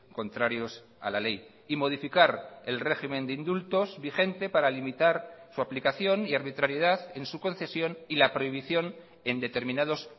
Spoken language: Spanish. contrarios a la ley y modificar el régimen de indultos vigente para limitar su aplicación y arbitrariedad en su concesión y la prohibición en determinados